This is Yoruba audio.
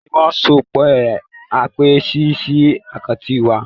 Kí ni wọ́n sọ pé a máa ṣe sí àkáǹtì wa?